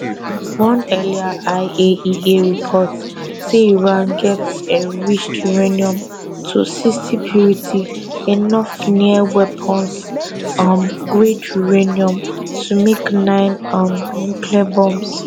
one earlier iaea report say iran get enriched uranium to 60 purity enough near weapons um grade uranium to make nine um nuclear bombs